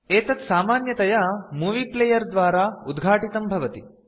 एतत् सामान्यतया movie player द्वारा उद्घाटितं भवति